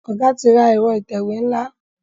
Oga tí ra Ẹ̀rọ ìtẹ̀wé nla.